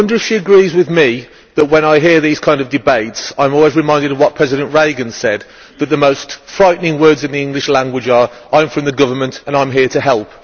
I wonder if she agrees with me that, when I hear these kind of debates, I am always reminded of what President Reagan said that the most frightening words in the English language are I am from the government and I am here to help.